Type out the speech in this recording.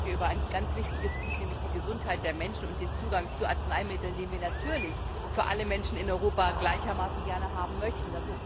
Wir reden heute über ein ganz wichtiges Gut, nämlich die Gesundheit der Menschen und den Zugang zu Arzneimitteln, den wir natürlich für alle Menschen in Europa gleichermaßen gerne haben möchten.